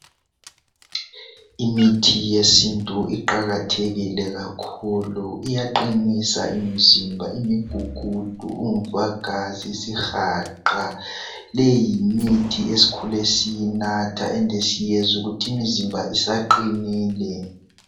Imithi yesintu iqakathekile kakhulu iyaqinisa imzimba, umgugudu, umvagazi, isihaqa leyimithi eskhule siyinatha ende siyezwa ukuthi imzimba isaqinile.